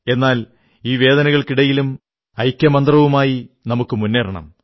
എന്നാൽ ഈ വേദനകൾക്കിടയിലും ഐക്യമന്ത്രവുമായി നമുക്കു മുന്നേറണം